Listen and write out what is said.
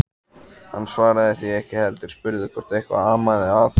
Hann svaraði því ekki heldur spurði hvort eitthvað amaði að.